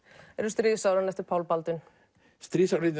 stríðsárin eftir Pál Baldvin stríðsárin